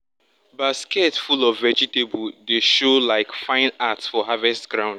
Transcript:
basket full of vegetable dey show like fine art for harvest ground.